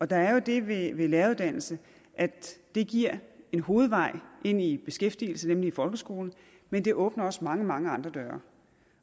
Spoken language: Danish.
der er jo det ved en læreruddannelse at den giver en hovedvej ind i beskæftigelse i folkeskolen men den åbner også mange mange andre døre